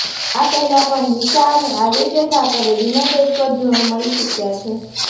આ પહેલા પણ દિશા અને આદિત્ય ઠાકરે ડિનર ડેટ પર જોવા મળી ચુક્યા છે